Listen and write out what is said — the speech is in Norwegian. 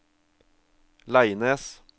Leines